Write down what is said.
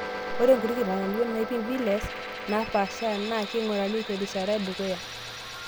Ore nkuti kitanyanyukot naipim VLEs naapasha na keing'urrari terishata edukuya